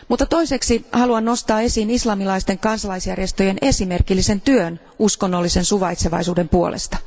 Toiseksi haluan nostaa esiin islamilaisten kansalaisjärjestöjen esimerkillisen työn uskonnollisen suvaitsevaisuuden puolesta.